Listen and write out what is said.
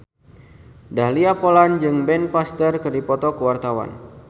Dahlia Poland jeung Ben Foster keur dipoto ku wartawan